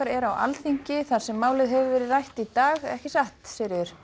er á Alþingi þar sem málið hefur verið rætt í dag ekki satt